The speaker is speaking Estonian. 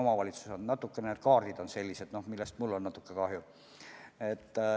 Kaardid on nüüd sellised ja sellest mul on natuke kahju.